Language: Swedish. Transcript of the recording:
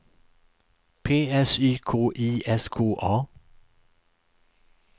P S Y K I S K A